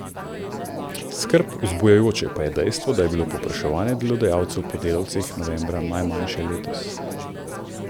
Skrb vzbujajoče pa je dejstvo, da je bilo povpraševanje delodajalcev po delavcih novembra najmanjše letos.